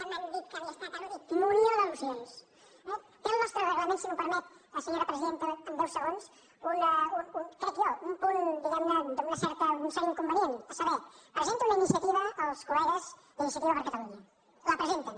munió d’al·lusions eh té el nostre reglament si m’ho permet senyora presidenta en deu segons crec jo un punt diguem ne d’una certa un cert inconvenient a saber presenten una iniciativa els col·legues d’iniciativa per catalunya la presenten